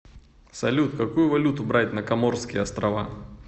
салют какую валюту брать на коморские острова